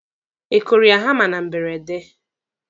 Ị kụrụ ya hama na mberede?